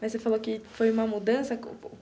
Mas você falou que foi uma mudança.